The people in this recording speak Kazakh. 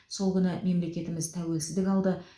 сол күні мемлекетіміз тәуелсіздік алды